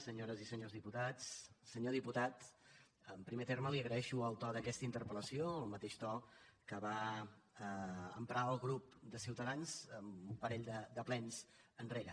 senyores i senyors diputats senyor diputat en primer terme li agraeixo el to d’aquesta interpel·lació el mateix to que va emprar el grup de ciutadans un parell de plens enrere